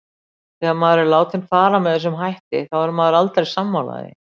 Þegar maður er látinn fara með þessum hætti þá er maður aldrei sammála því.